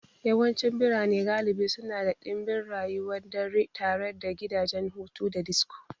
Yawancin birane galibi suna da ɗimbin rayuwar dare tare da gidajen hutu da disko.